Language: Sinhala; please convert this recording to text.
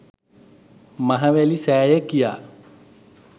මහවැලි සෑය කියා.